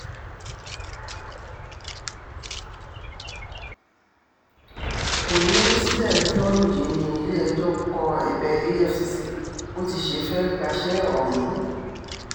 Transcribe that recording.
òní wíṣídẹ̀ẹ́ ọjọ́rùú yìí ní ilé-ẹjọ́ kọ ẹ̀bẹ̀ efcc bó ti ṣe fẹ́ẹ́ gbaṣẹ́ ọ̀hún